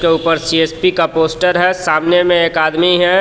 के ऊपर सी_एस_पी का पोस्टर है सामने में एक आदमी है.